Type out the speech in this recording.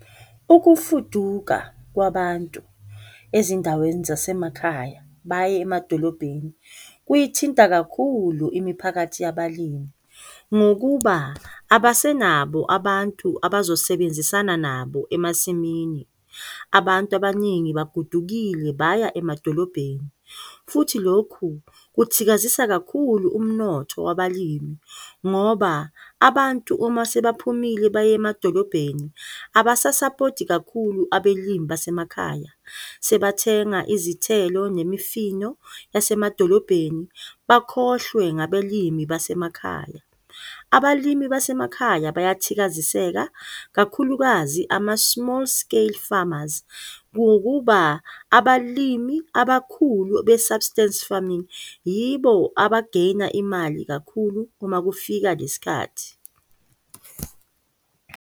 Ukufuduka kwabantu ezindaweni zasemakhaya baye emadolobheni, kuyithinta kakhulu imiphakathi yabalimi, ngokuba abasenabo abantu abazosebenzisana nabo emasimini. Abantu abaningi bagodukile baya emadolobheni futhi lokhu kuthikazisa kakhulu umnotho wabalimi ngoba abantu uma sebaphumile baye emadolobheni abasasapoti kakhulu abalimi basemakhaya, sebathenga izithelo nemifino yasemadolobheni bakhohlwe ngabalimi basemakhaya. Abalimi basemakhaya bayathikaziseka, kakhulukazi ama-small scale farmers ngokuba abalimi abakhulu be-substance farming yibo abageyina imali kakhulu uma kufika le sikhathi.